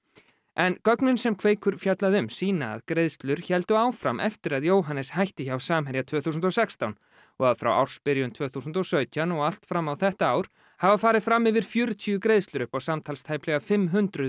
en gögnin sem Kveikur fjallaði um sýna að greiðslur héldu áfram eftir að Jóhannes hætti hjá Samherja tvö þúsund og sextán og að frá ársbyrjun tvö þúsund og sautján og allt fram á þetta ár hafa farið fram yfir fjörutíu greiðslur upp á samtals tæplega fimm hundruð